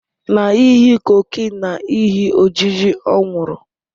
Na ihi cocaine na ihi ojiji ọ nwụrụ